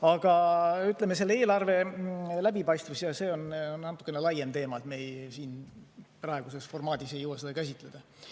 Aga eelarve läbipaistvus on natukene laiem teema, me siin praeguses formaadis ei jõua seda käsitleda.